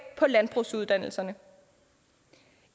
på landbrugsuddannelserne